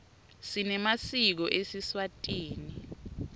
sinemasiko esiswati